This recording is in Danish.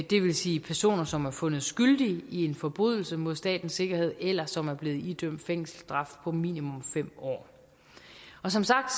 det vil sige personer som er fundet skyldige i en forbrydelse mod statens sikkerhed eller som er blevet idømt fængselsstraf på minimum fem år som sagt